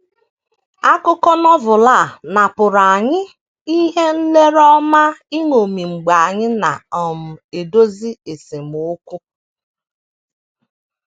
Akụkọ Novel a na - pụrụ anyị ihe nlere ọma iṅomi mgbe anyị na um - edozi esemokwu.